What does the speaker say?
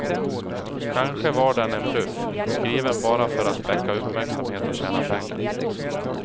Kanske var den en bluff, skriven bara för att väcka uppmärksamhet och tjäna pengar.